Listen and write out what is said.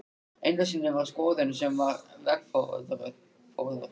Einu sinni var skoðun sem var veggfóður.